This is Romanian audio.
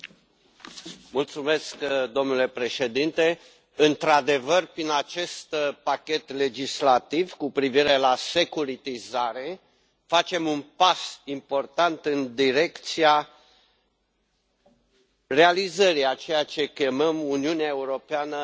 Domnule președinte, într adevăr, prin acest pachet legislativ cu privire la securitizare facem un pas important în direcția realizării a ceea ce chemăm Uniunea Europeană a piețelor de capital.